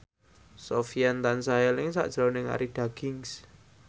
Sofyan tansah eling sakjroning Arie Daginks